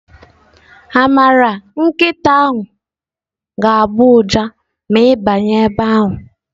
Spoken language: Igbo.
Amara nkịta ga-agbọ ụja ma ị banye ebe ahụ.